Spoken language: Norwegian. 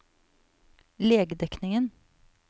legedekningen